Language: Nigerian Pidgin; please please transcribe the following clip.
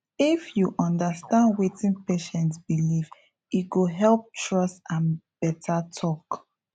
if you understand wetin patient believe e go help trust and better talk